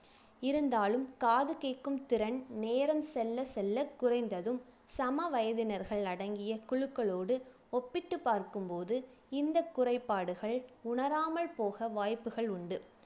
இருந்தாலும் காது கேக்கும் திறன் நேரம் செல்ல செல்ல குறைந்ததும் சம வயதினர்கள் அடங்கிய குழுக்களோடு ஒப்பிட்டுப் பார்க்கும் போது இந்தக் குறைபாடுகள் உணராமல் போக வாய்ப்புகள் உண்டு